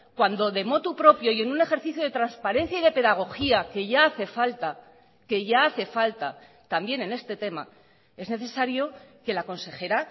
cuando de motu propio y en un ejercicio de transparencia y de pedagogía que ya hace falta que ya hace falta también en este tema es necesario que la consejera